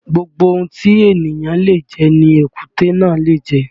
Gbogbo ohun tí èniyàn le jẹ ni èkúté náà le jẹ